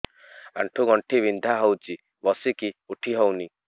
ଆଣ୍ଠୁ ଗଣ୍ଠି ବିନ୍ଧା ହଉଚି ବସିକି ଉଠି ହଉନି